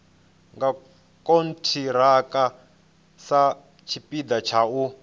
nga khonthiraka satshipida tsha u